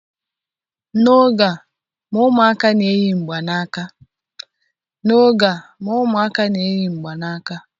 N'oge a ma ụmụaka na-eyi mgbanaka